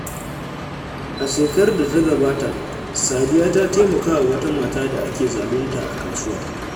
A shekarar da ta gabata, Sadiya ta taimaka wa wata mata da ake zalunta a kasuwa.